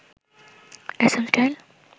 SM style